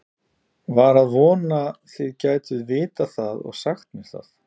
var að vona þið gætuð vitað það og sagt mér það